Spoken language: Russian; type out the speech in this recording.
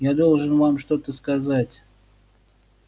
я должен вам что-то сказать